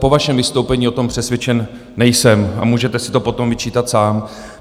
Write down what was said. Po vašem vystoupení o tom přesvědčen nejsem a můžete si to potom vyčítat sám.